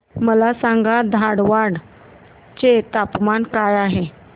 मला सांगा धारवाड चे तापमान काय आहे